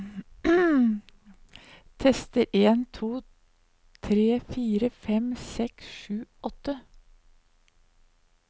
Tester en to tre fire fem seks sju åtte